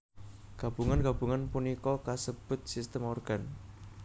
Gabungan gabungan punika kasebut sistem organ